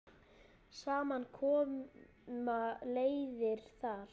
Saman koma leiðir þar.